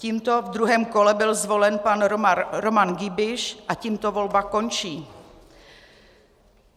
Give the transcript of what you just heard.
Tímto v druhém kole byl zvolen pan Roman Giebisch a tímto volba končí.